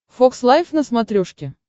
фокс лайф на смотрешке